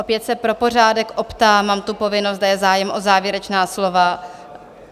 Opět se pro pořádek optám, mám tu povinnost, zda je zájem o závěrečná slova?